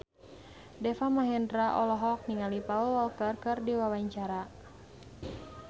Deva Mahendra olohok ningali Paul Walker keur diwawancara